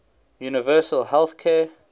universal health care